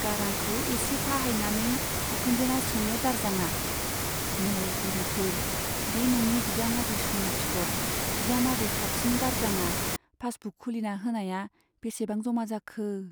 गारांखौ एसे फाहायनानै बिखुनजोनाव सोङो दारजांआ , नै बुरिफोर , बे नोंनि बिजामादै सना फिथ'र , बिजामादै साबसिन दारजांआ पासबुक खुलिना होनाया बेसेबां जमा जाखो ?